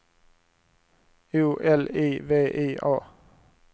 O L I V I A